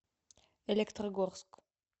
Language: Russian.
электрогорск